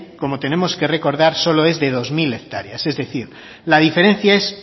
como tenemos que recordar solo es de dos mil hectáreas es decir la diferencia es